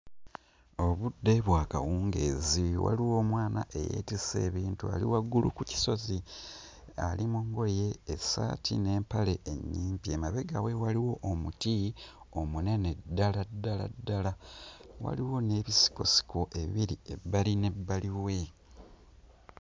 Obudde bwakawungeezi. Waliwo omwana eyetisse ebintu ali waggulu ku kisozi, ali mu ngoye essaati n'empale ennyimpi, emabega we waliwo omuti omunene ddala, ddala ddala, waliwo n'ebisikosiko ebiri ebbali n'ebbali we.